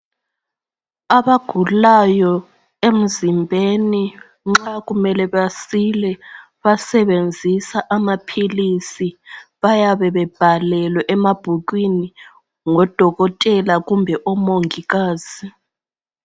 Abagulayo emzimbeni nxa kumele basile basebenzisa amaphilisi bayabe bebhalelwe emabhukwini ngodokotela kumbe omongikazi.